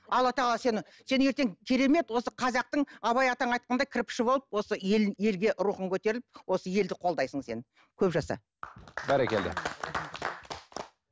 алла тағала сені сен ертең керемет осы қазақтың абай атаң айтқандай кірпіші болып осы ел елге рухын көтеріліп осы елді қолдайсың сен көп жаса бәрекелді